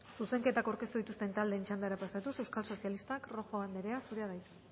zuzenketak aurkeztu dituzten taldeen txandara pasatuz euskal sozialistak rojo anderea zurea da hitza